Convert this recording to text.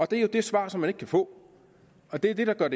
det er jo det svar som man ikke kan få og det er det der gør